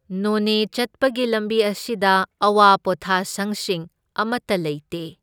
ꯅꯣꯅꯦ ꯆꯠꯄꯒꯤ ꯂꯝꯕꯤ ꯑꯁꯤꯗ ꯑꯋꯥ ꯄꯣꯊꯥꯁꯪꯁꯤꯡ ꯑꯃꯇ ꯂꯩꯇꯦ꯫